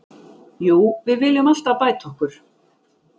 Jú, við viljum alltaf bæta okkur.